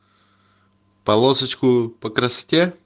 полосочку по красоте